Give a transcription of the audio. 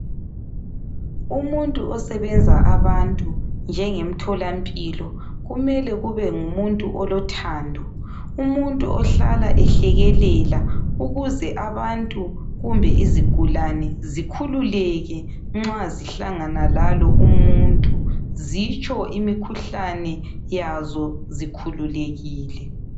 Umuntu osebenza abantu njengemtholampilo, kumele kube ngumuntu olothando. Umuntu ohlala ehlekelela ukuze abantu kumbe izigulane zikhululeke nxa zihlangana lalo umuntu. Zitsho imikhuhlane yazo zikhululekile.